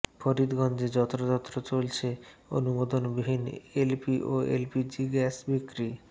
ফরিদগঞ্জে যত্রতত্র চলছে অনুমোদনবিহীন এলপি ও এলপিজি গ্যাস বিক্রি